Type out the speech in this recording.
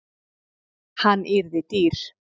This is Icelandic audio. Hann yrði dýr.